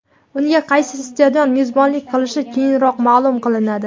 Unga qaysi stadion mezbonlik qilishi keyinroq ma’lum qilinadi.